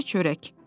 Təkcə çörək.